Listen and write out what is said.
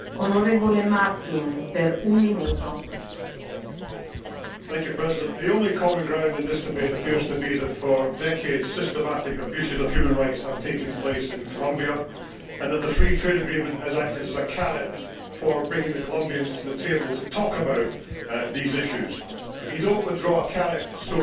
Madam President, the only common ground in this debate appears to be that for decades systematic abuses of human rights have taken place in Colombia and that the Free Trade Agreement has acted as a carrot for bringing the Colombians to the table to talk about these issues. But you do not withdraw a carrot so easily,